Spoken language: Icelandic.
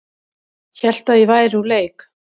Hélt að ég væri úr leik